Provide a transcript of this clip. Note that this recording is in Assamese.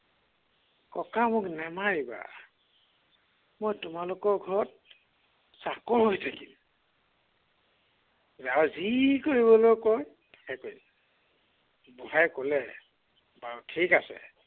ককা মোক নামাৰিবা। মই তোমালোকৰ ঘৰত চাকৰ হৈ থাকিম। যাৰ যি কৰিবলৈ কয় তাকে বুঢ়াই কলে, বাৰু ঠিক আছে।